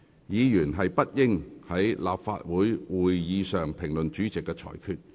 議員不應在立法會會議上評論主席的裁決。